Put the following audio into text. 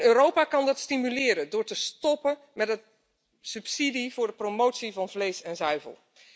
Europa kan dat stimuleren door te stoppen met subsidies voor de promotie van vlees en zuivel.